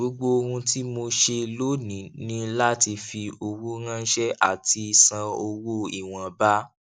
gbogbo ohun tí mo ṣe lónìí ní láti fi owó ránṣẹ àti san owó ìwọnba